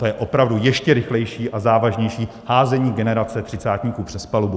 To je opravdu ještě rychlejší a závažnější házení generace třicátníků přes palubu.